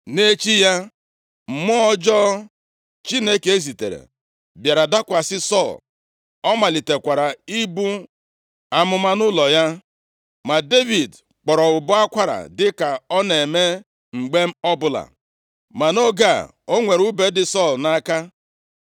Nʼechi ya, mmụọ ọjọọ Chineke zitere bịara dakwasị Sọl, ọ malitekwara ibu amụma nʼụlọ ya. Ma Devid kpọrọ ụbọ akwara dịka ọ na-eme mgbe ọbụla. Ma nʼoge a, o nwere ùbe dị Sọl nʼaka.